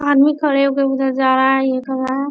आदमी खड़े हो कर उधर जा रहा है एक --